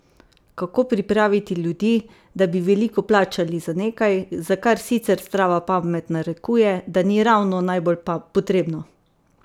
Kako pripraviti ljudi, da bi veliko plačali za nekaj, za kar sicer zdrava pamet narekuje, da ni ravno najbolj potrebno?